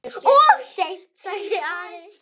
Of seint, sagði Ari.